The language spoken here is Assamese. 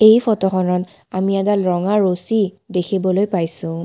এই ফটোখনত আমি এডাল ৰঙা ৰছী দেখিবলৈ পাইছোঁ।